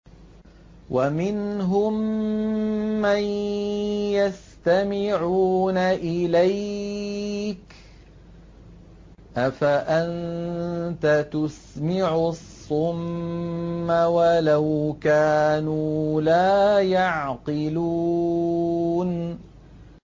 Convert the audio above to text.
وَمِنْهُم مَّن يَسْتَمِعُونَ إِلَيْكَ ۚ أَفَأَنتَ تُسْمِعُ الصُّمَّ وَلَوْ كَانُوا لَا يَعْقِلُونَ